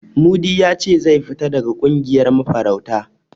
Mudi ya ce zai fita daga ƙungiyar mafarauta.